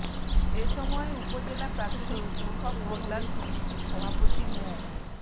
এ সময় উপজেলা প্রাথমিক শিক্ষক কল্যাণ সমিতির সভাপতি মো